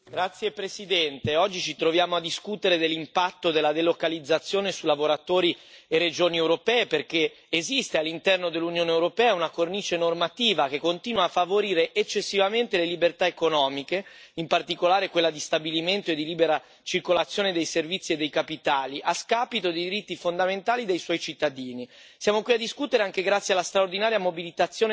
Signora Presidente, onorevoli colleghi, oggi ci troviamo a discutere dell'impatto della delocalizzazione su lavoratori e regioni europee, perché esiste all'interno dell'Unione europea una cornice normativa che continua a favorire eccessivamente le libertà economiche, in particolare quella di stabilimento e di libera circolazione dei servizi e dei capitali, a scapito dei diritti fondamentali dei suoi cittadini.